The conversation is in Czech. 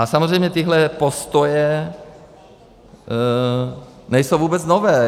A samozřejmě tyhle postoje nejsou vůbec nové.